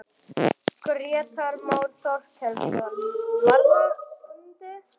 Grétar Már Þorkelsson: Varðandi?